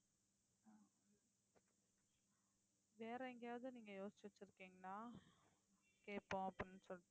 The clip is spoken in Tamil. வேற எங்கேயாவது நீங்க யோசிச்சு வச்சிருக்கீங்களா கேட்போம் அப்படின்னு சொல்லிட்டு